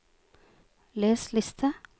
les liste